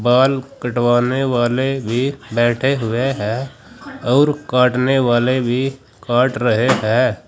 बाल कटवाने वाले भी बैठे हुए हैं और काटने वाले भी काट रहे हैं।